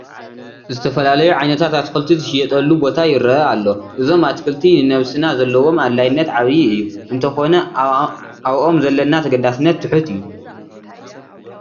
ዝተፈላለዩ ዓይነታት ኣትክልቲ ዝሽየጥሉ ቦታ ይርአ ኣሎ፡፡ እዞም ኣትክልቲ ንነብስና ዘለዎም ኣድላይነት ዓብዪ እዩ፡፡ እንተኾነ ኣብኦም ዘለና ተገዳስነት ትሑት እዩ፡፡